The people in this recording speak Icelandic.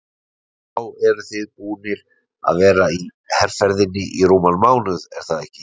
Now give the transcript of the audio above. Þá eruð þið búnir að vera í herferðinni í rúman mánuð er það ekki?